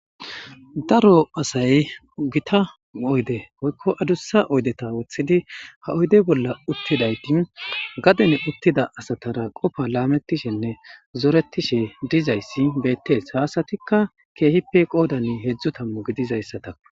daro asay gita oyde oykko adussa oydeta woththidi ha oyde bolla uttidayti gadhen uttida asatara qofa laamettishenne zoretishe dizayssi beettees ha asatikka keehippe qoodani heedzdzu tammu gidizayssatako